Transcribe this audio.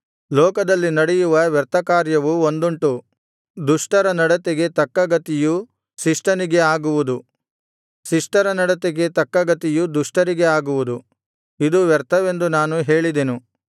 ಲೋಕದಲ್ಲಿ ನಡೆಯುವ ವ್ಯರ್ಥಕಾರ್ಯವು ಒಂದುಂಟು ದುಷ್ಟರ ನಡತೆಗೆ ತಕ್ಕ ಗತಿಯು ಶಿಷ್ಟನಿಗೆ ಆಗುವುದು ಶಿಷ್ಟರ ನಡತೆಗೆ ತಕ್ಕ ಗತಿಯು ದುಷ್ಟರಿಗೆ ಆಗುವುದು ಇದು ವ್ಯರ್ಥವೆಂದು ನಾನು ಹೇಳಿದೆನು